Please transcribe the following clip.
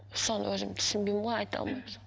соны өзім түсінбеймін ғой айта алмаймын соны